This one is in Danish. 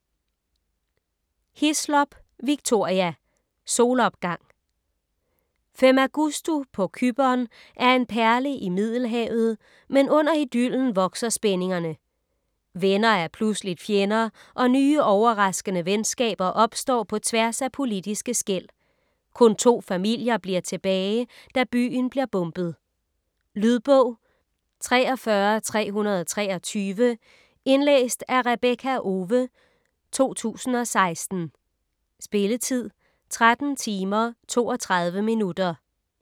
Hislop, Victoria: Solopgang Femagustu på Cypern er en perle i middelhavet, men under idyllen vokser spændingerne. Venner er pludseligt fjender og nye overraskende venskaber opstår på tværs af politiske skel. Kun to familier bliver tilbage da byen bliver bombet. Lydbog 43323 Indlæst af Rebekka Owe, 2016. Spilletid: 13 timer, 32 minutter.